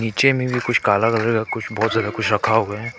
नीचे में भी कुछ कुछ बहुत ज्यादा कुछ रखा हुआ है।